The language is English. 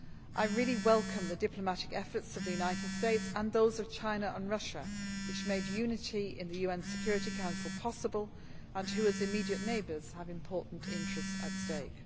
I really welcome the diplomatic efforts of the United Staes and those of China and Russia which made unity in the UN Security Council possible and who, as immediate neighbours, have important interests at stake.